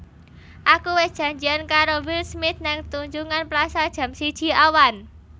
Aku wes janjian karo Will Smith nang Tunjungan Plaza jam siji awan